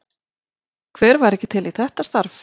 Hver væri ekki til í þetta starf?